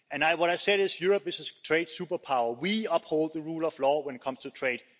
What I said is that Europe is a trade superpower we uphold the rule of law when it comes to trade.